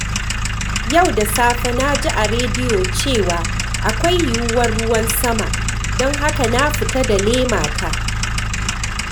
Yau da safe, na ji a rediyo cewa akwai yiyuwar ruwan sama, don haka na fita da lemata.